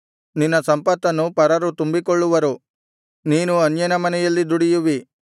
ನಿನ್ನ ಸಂಪತ್ತನ್ನು ಪರರು ತುಂಬಿಕೊಳ್ಳುವರು ನೀನು ಅನ್ಯನ ಮನೆಯಲ್ಲಿ ದುಡಿಯುವಿ